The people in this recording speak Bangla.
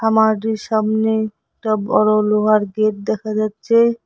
খামারটির সামনে একটা বড় লোহার গেট দেখা যাচ্ছে।